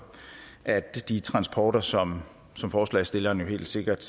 at de transporter som som forslagsstillerne helt sikkert